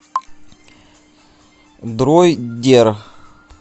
дроидер